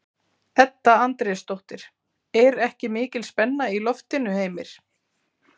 Edda Andrésdóttir: Er ekki mikil spenna í loftinu, Heimir?